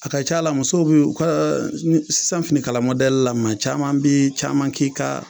A ka ca la muso bi u kɛ sisan fini la maa caman bi caman k'i ka.